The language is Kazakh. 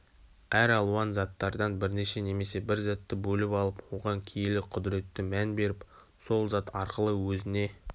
әр алуан заттардан бірнеше немесе бір затты бөліп алып оған киелі қүдіретті мән беріп сол зат арқылы өзіне